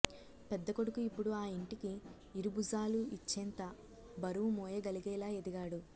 పెద్దకొడుకు ఇప్పుడు ఆ ఇంటికి ఇరుభుజాలు ఇచ్చేంత బరువు మోయగలిగేలా ఎదిగాడు